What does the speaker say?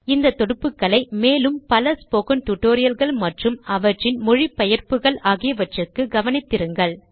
இந்த தொடுப்புக்களை மேலும் பல ஸ்போகன் டுடோரியல்கள் மற்றும் அவற்றின் மொழி பெயர்ப்புக்கள் ஆகியவற்றுக்கு கவனித்திருங்கள்